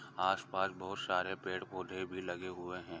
तरह के फर्श भी लगे हुए है आस पास बहुत सारे पेड़ पौधे भी लगे हुए है।